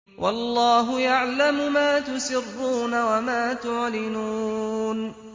وَاللَّهُ يَعْلَمُ مَا تُسِرُّونَ وَمَا تُعْلِنُونَ